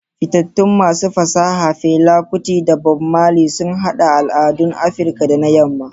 Fitattun masu fasaha Fela Kuti da Bob Marley sun haɗa al'adun Afirka da na Yamma.